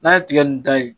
N'a ye tigɛ nin da ye